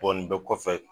Bɔ nin bɛɛ kɔfɛ